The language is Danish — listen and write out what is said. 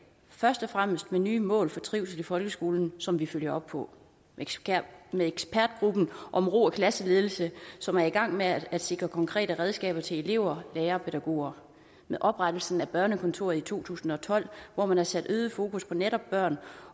først og fremmest med nye mål for trivsel i folkeskolen som vi følger op på med ekspertgruppen om ro og klasseledelse som er i gang med at sikre konkrete redskaber til elever lærere og pædagoger med oprettelsen af børnekontoret i to tusind og tolv hvor man har sat øget fokus på netop børn